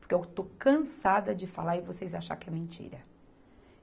Porque eu estou cansada de falar e vocês achar que é mentira.